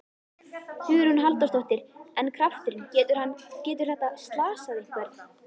Hugrún Halldórsdóttir: En krafturinn, getur hann, getur þetta slasað einhvern?